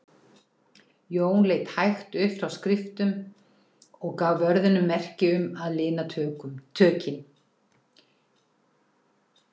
Jón leit hægt upp frá skriftum og gaf vörðunum merki um að lina tökin.